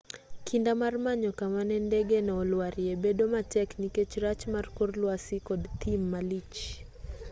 kinda mar manyo kama ne ndegeno olwarie bedo matek nikech rach mar kor lwasi kod thim malich